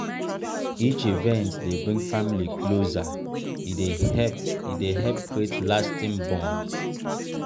each event dey bring family closer e dey help e dey help create lasting bonds.